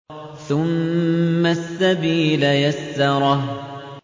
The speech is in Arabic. ثُمَّ السَّبِيلَ يَسَّرَهُ